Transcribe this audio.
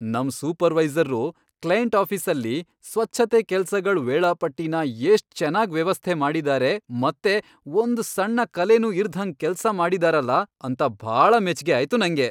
ನಮ್ ಸೂಪರ್ವೈಸರ್ರು ಕ್ಲೈಂಟ್ ಆಫೀಸಲ್ಲಿ ಸ್ವಚ್ಛತೆ ಕೆಲ್ಸಗಳ್ ವೇಳಾಪಟ್ಟಿನ ಎಷ್ಟ್ ಚೆನ್ನಾಗ್ ವ್ಯವಸ್ಥೆ ಮಾಡಿದಾರೆ ಮತ್ತೆ ಒಂದ್ ಸಣ್ಣ ಕಲೇನೂ ಇರ್ದ್ಹಂಗ್ ಕೆಲ್ಸ ಮಾಡಿದಾರಲ ಅಂತ ಭಾಳ ಮೆಚ್ಗೆ ಆಯ್ತು ನಂಗೆ.